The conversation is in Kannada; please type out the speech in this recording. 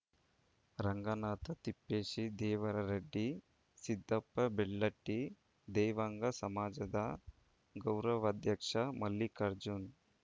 ರಂಗನಾಥ್‌ ತಿಪ್ಪೇಶಿ ದೇವರರೆಡ್ಡಿ ಸಿದ್ದಪ್ಪ ಬೆಳ್ಳಟ್ಟಿ ದೇವಾಂಗ ಸಮಾಜದ ಗೌರವಾಧ್ಯಕ್ಷ ಮಲ್ಲಿಕಾರ್ಜುನ್‌